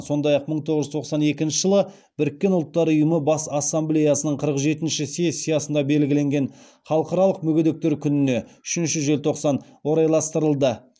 сондай ақ мың тоғыз жүз тоқсан екінші жылы біріккен ұлттар ұййымы бас ассамблеясының қырық жетінші сессиясында белгіленген халықаралық мүгедектер күніне орайластырылды